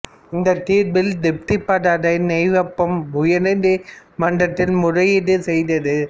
இந்தத் தீர்ப்பில் திருப்தி படாத நோவோப்பாம் உயர்நீதி மன்றத்தில் முறையீடு செய்தது